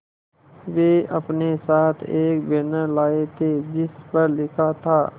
वे अपने साथ एक बैनर लाए थे जिस पर लिखा था